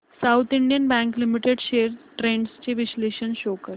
south Indian Bank Limited shares trends चे विश्लेषण show कर